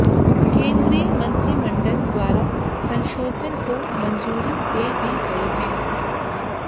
केंद्रीय मंत्रिमंडल द्वारा संशोधन को मंजूरी दे दी गई है